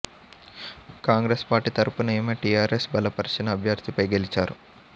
Congress party తరపున ఆమె టీఆర్ఎస్ బలపరిచిన అభ్యర్థిపై గెలిచారు